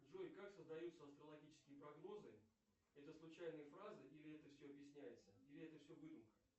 джой как создаются астрологические прогнозы это случайные фразы или это все объясняется или это все выдумка